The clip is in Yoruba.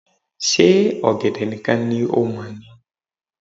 Ṣe ọ̀gẹ̀dẹ̀ nìkan ni o mọ̀ ni